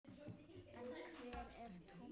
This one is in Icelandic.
En hver er Tommi?